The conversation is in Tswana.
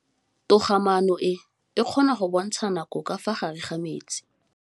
Toga-maanô e, e kgona go bontsha nakô ka fa gare ga metsi.